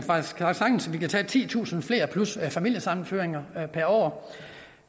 sagtens at vi kan tage titusind flere plus familiesammenføringer per år